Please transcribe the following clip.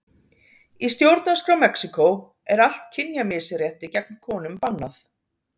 Í stjórnarskrá Mexíkó er allt kynjamisrétti gegn konum bannað.